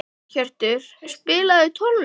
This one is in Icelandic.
Geirhjörtur, spilaðu tónlist.